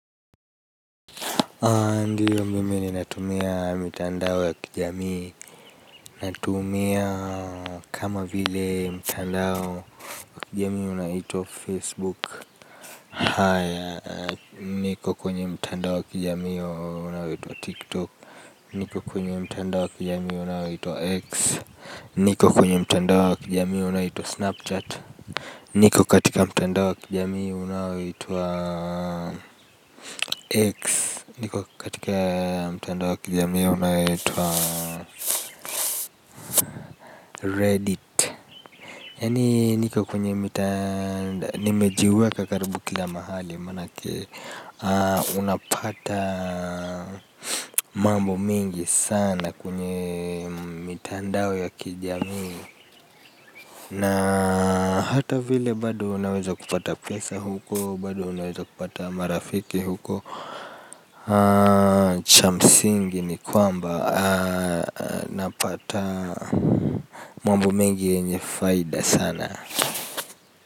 Ndiyo mimi ninatumia mitandao ya kijamii. Natumia kama vile mtandao wa kijamii unaoitwa Facebook. Haya niko kwenye mtandao wa kijamii unaoitwa TikTok. Niko kwenye mtandao wa kijamii unaoitwa X. Niko kwenye mitandao ya kijamii unaito Snapchat. Niko katika mitandao ya kijamii unaito X. Niko katika mtandao ya kijamii ya unaoitwa Reddit. Yaani niko kwenye nimejiweka karibu kila mahali. Manake unapata mambo mengi sana kwenye mitandao ya kijamii. Na hata vile bado unaweza kupata pesa huko bado unaweza kupata marafiki huko. Cha msingi ni kwamba napata mambo mengi yenye faida sana.